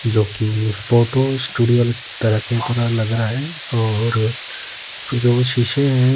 जो कि photo studio की तरह की तरह लग रहा है और जो शीशे हैं।